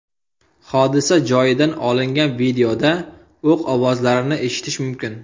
Hodisa joyidan olingan videoda o‘q ovozlarini eshitish mumkin.